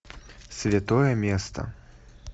святое место